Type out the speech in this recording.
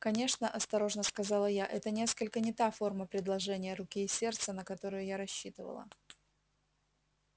конечно осторожно сказала я это несколько не та форма предложения руки и сердца на которую я рассчитывала